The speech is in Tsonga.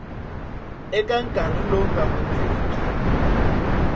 eka nkarhi lowu nga hundziki